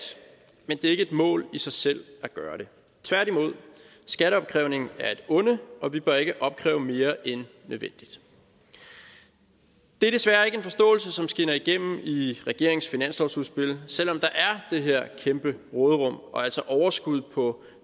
men det er ikke et mål i sig selv at gøre det tværtimod er skatteopkrævning et onde og vi bør ikke opkræve mere end nødvendigt det er desværre ikke en forståelse som skinner igennem i regeringens finanslovsudspil selv om der er det her kæmpe råderum og altså overskud på